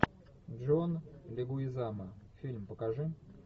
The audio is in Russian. джон легуизамо фильм покажи